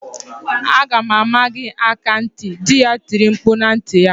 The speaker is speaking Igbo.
"Aga m ama gị aka ntị!" Dị ya tiri mkpu na ntị ya.